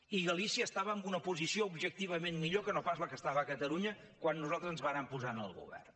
i galícia estava en una posició objectivament millor que no pas la que hi estava catalunya quan nosaltres ens vàrem posar en el govern